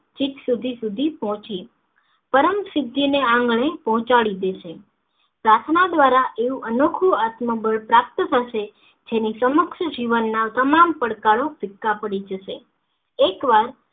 છીક સુધી સુધી પોંહચી પરમસિદ્ધિ ના આંગણે પોહંચાડી દેશે પ્રાર્થના દ્વારા એવું અનોખું આત્મબળ પ્રાપ્ત થશે જેની સમક્ષ જીવન માં તમામ પડકારો પડી જશે એકવાર